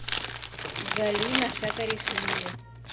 галина шакаришвили